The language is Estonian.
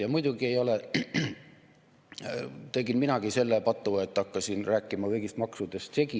Ja muidugi tegin minagi selle patu, et hakkasin rääkima kõigist maksudest läbisegi.